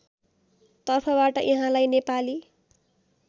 तर्फबाट यहाँलाई नेपाली